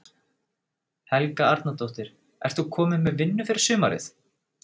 Helga Arnardóttir: Ert þú komin með vinnu fyrir sumarið?